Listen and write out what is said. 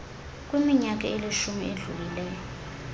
kwiminyaka elishumi edlulileyo